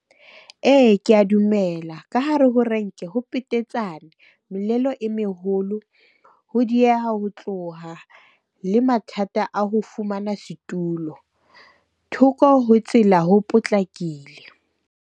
Ee, ke ya dumela ka hare ho renke ho petetsane e meholo. Ho dieha ho tloha le mathata a ho fumana setulo, thoko ho tsela ho potlakile.